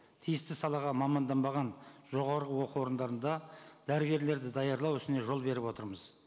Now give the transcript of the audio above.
тиісті салаға маманданбаған жоғарғы оқу орындарында дәрігерлерді даярлау үшін жол беріп отырмыз